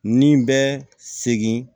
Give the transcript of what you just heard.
Nin bɛ segin